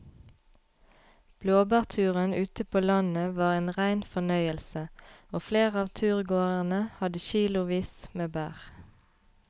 Blåbærturen ute på landet var en rein fornøyelse og flere av turgåerene hadde kilosvis med bær.